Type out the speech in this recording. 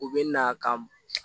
U bɛ na ka